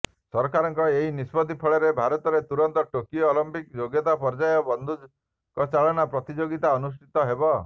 ସରକାରଙ୍କ ଏହି ନିଷ୍ପତ୍ତି ଫଳରେ ଭାରତରେ ତୁରନ୍ତ ଟୋକିଓ ଅଲିମ୍ପିକ୍ସ ଯୋଗ୍ୟତା ପର୍ଯ୍ୟାୟ ବଂଧୁକଚାଳନା ପ୍ରତିଯୋଗିତା ଅନୁଷ୍ଠିତ ହେବ